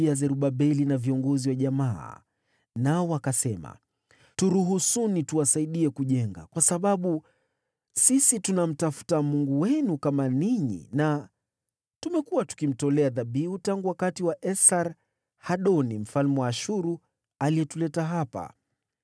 wakamjia Zerubabeli na viongozi wa jamaa, nao wakasema, “Turuhusuni tuwasaidie kujenga, kwa sababu sisi tunamtafuta Mungu wenu kama ninyi na tumekuwa tukimtolea dhabihu tangu wakati wa Esar-Hadoni mfalme wa Ashuru, aliyetuleta hapa.”